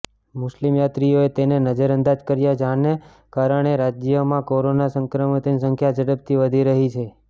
મુસ્લિમ યાત્રીઓએ તેને નજરઅંદાજ કર્યા જેના કારણે રાજ્યમાંકોરોના સંક્રમિતોની સંખ્યા ઝડપથી વધી રહી છે